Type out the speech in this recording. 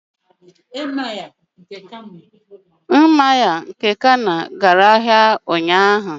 Emir nke Kano gara ahịa ụnyahụ.